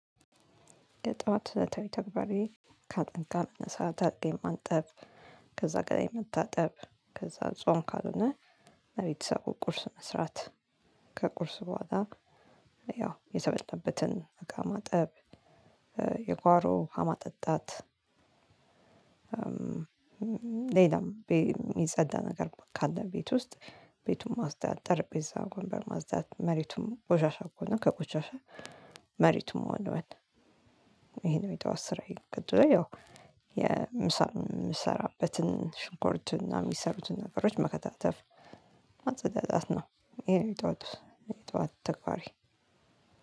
የጧት ተግባሬ ከአልጋ መነሳ አልጋዬን ማንጠፍ ከዛ ገላዬን መታጠብ ከዛ ጾም ካልሆነ ለቤተሰቡ ቁርስ መስራት ከቁርስ በኋላ ያው የተበላበትን እቃ ማጠብ። የጎሮ ውሃ ማጠጣት። ሌላም የሚጸዳ ነገር ካለ ቤት ውስጥ ቤቱን ማጽዳት ጠርጴዛ ወንበር ማጽዳት መሬቱን ቆሻሻ ከሆነ ቆሻሻ መሬቱን መወልወል። ይሄ ነው የጠዋት ስራዬ። ከዛ ያው የምሰራበትን ሽንኮርት እና የሚሰሩትን ነገሮች መከታተፍ ማጸዳዳት ነው። ይሄ ነው የጠዋቱ የጠዋት ተግባሬ።